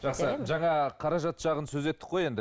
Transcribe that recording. жақсы жана қаражат жағын сөз еттік қой енді